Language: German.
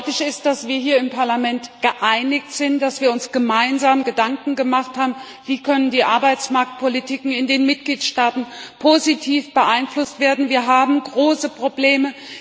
Deutlich ist, dass wir hier im Parlament geeinigt sind, dass wir uns gemeinsam Gedanken gemacht haben, wie die Arbeitsmarktpolitiken in den Mitgliedstaaten positiv beeinflusst werden können. Wir haben große Probleme.